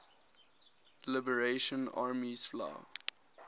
liberation army spla